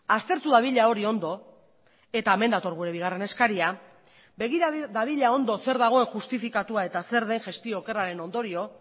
aztertu dadila hori ondo eta hemen dator gure bigarren eskaria begira dadila ondo zer dagoen justifikatua eta zer den gestio okerraren ondorio